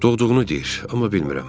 Doğulduğunu deyir, amma bilmirəm.